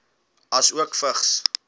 asook vigs